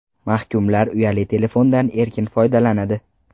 Mahkumlar uyali telefondan erkin foydalanadi.